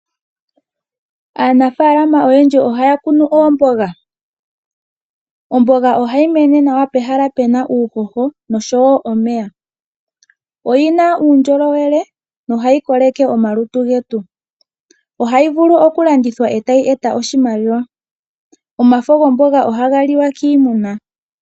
Aanafalama ohaya kunu uuhoho oshowo omeya. Oyina uundjolowele oshoka ohayi koleke omalutu getu, onafo gayo ohaga liwa kiimuna.